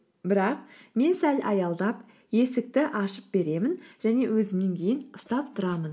бірақ мен сәл аялдап есікті ашып беремін және өзімнен кейін ұстап тұрамын